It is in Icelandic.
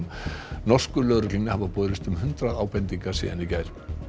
norsku lögreglunni hafa borist um hundrað ábendingar síðan í gær